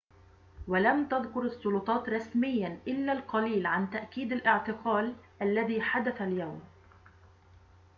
ولم تذكر السلطات رسمياً إلا القليل عن تأكيد الاعتقال الذي حدث اليوم